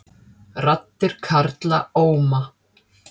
Raddir karla óma